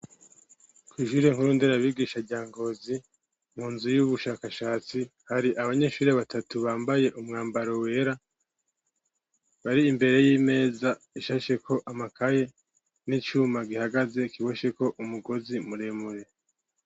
Kw'ishure nkuru Nderabigisha rya Ngozi, mu nzu y'ubushakashatsi, hari abanyeshuri batatu bambaye umwambaro wera, bar'imbere y'imeza ishasheko amakaye n'icuma gihagaze kibosheko umugozi muremure.